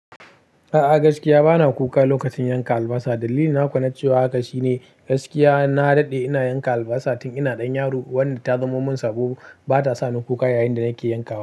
A'a gaskiya bana kuka lokacin yanka albasa. Dalili na kuwa na cewa haka shine gaskiya na daɗe ina yanka albasa tun ina ɗan yaro, wanda ta zamo min sabo. Bata sani kuka yayin da nake yanka wa.